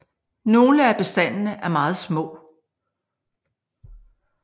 Nogle af bestandene er meget små